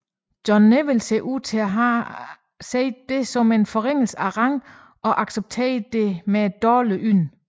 John Neville ser ud til at have set dette som en forringelse af rang og accepterede det med dårlig ynde